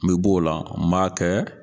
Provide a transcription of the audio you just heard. N mɛ b'o la n m'a kɛ